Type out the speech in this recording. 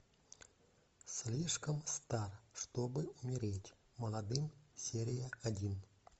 слишком стар чтобы умереть молодым серия один